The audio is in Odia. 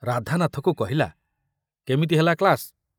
ରାଧାନାଥକୁ କହିଲା, କେମିତି ହେଲା କ୍ଲାସ?